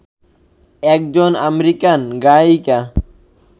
একজন আমেরিকান গায়িকা